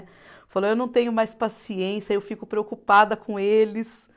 Falou, eu não tenho mais paciência, eu fico preocupada com eles